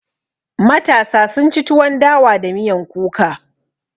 Matasa sun ci tuwon dawa da miyan kuka